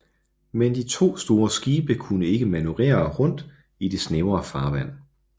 Men de to store skibe kunne ikke manøvrere i det snævre farvand